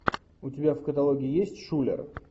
у тебя в каталоге есть шулер